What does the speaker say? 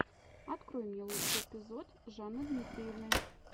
открой мне лучший эпизод жанны дмитриевны